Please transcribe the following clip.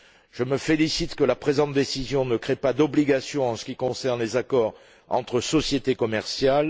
Je me félicite que la présente décision ne crée pas d'obligation en ce qui concerne les accords entre sociétés commerciales.